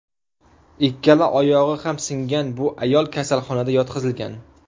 Ikkala oyog‘i ham singan bu ayol kasalxonaga yotqizilgan.